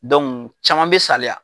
caman bɛ saliya.